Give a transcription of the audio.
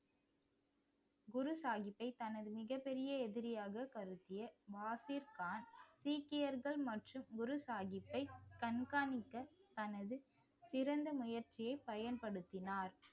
குரு சாஹிப்பை தனது மிகப்பெரிய எதிரியாக கருத்திய சீக்கியர்கள் மற்றும் குரு சாஹிப்பை கண்காணிக்க தனது சிறந்த முயற்சியை பயன்படுத்தினார்